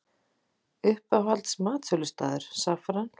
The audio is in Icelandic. Uppáhalds matsölustaður: Saffran